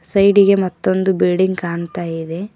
Side ಇಗೆ ಮತ್ತೊಂದು building ಕಾಣ್ತಾ ಇದೆ.